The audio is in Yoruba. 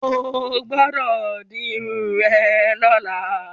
Ó gbúdọ̀ di irun rẹ lọ́la.